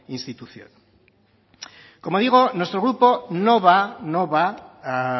institución como digo nuestro grupo no va a